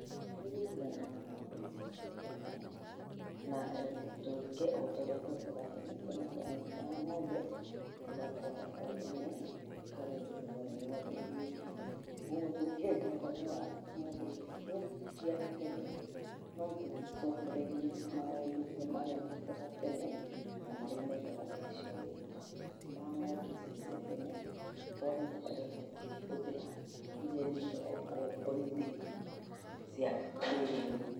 Nĩ gũethana na ngombe icio cia tena na tũike ũrĩa twekaga tene tene twa nyitaga ngombe tũgatwara kwa ndũme ĩkarũgĩrĩrwo nĩ ngombe ĩkarũgĩrĩrwo nĩ ngombe iria ingĩ, kogũo tũkĩenda ũhoro wa ngombe icio cia tene no tũcokereire maũndũ marĩa twekaga tenena marĩa mekagwo nĩ acĩarĩ aitũ ma ngombe icio cia tene twage gũkorwo tũkĩhũthira iria irekwo breeding cia kĩrĩu.